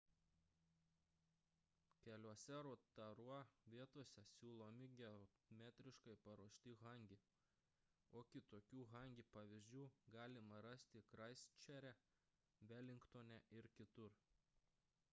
keliose rotorua vietose siūlomi geotermiškai paruošti hangi o kitokių hangi pavyzdžių galima rasti kraistčerče velingtone ir kitur